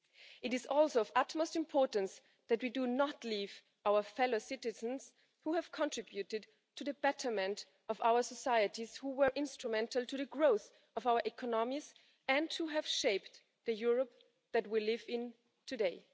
It is also of utmost importance that we do not leave our fellow citizens who have contributed to the betterment of our societies, who were instrumental in the growth of our economies, and who have shaped the Europe that we live in today.